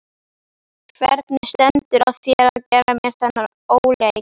Hvernig stendur á þér að gera mér þennan óleik?